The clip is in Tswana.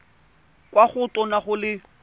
kwa go tona go le